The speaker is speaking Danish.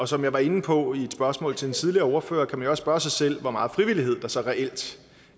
som jeg var inde på i et spørgsmål til en tidligere ordfører kan man jo også spørge sig selv hvor meget frivillighed der så reelt